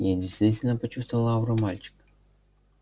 я действительно почувствовал ауру мальчика